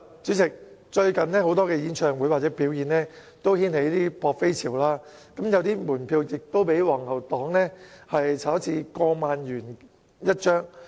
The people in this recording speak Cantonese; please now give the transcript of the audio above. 主席，最近有多個演唱會或表演均掀起"撲飛"潮，有門票更被"黃牛黨"炒至過萬元1張。